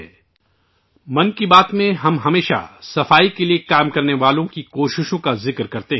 'من کی بات' میں ہم ہمیشہ صفائی کے حامیوں کی کوششوں کا ذکر کرتے ہیں